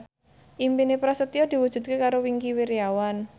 impine Prasetyo diwujudke karo Wingky Wiryawan